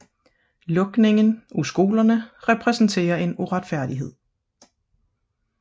Lukningen af skolerne repræsenterer en uretfærdighed